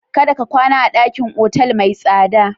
Kada ka kwana a ɗakin otal mai tsada.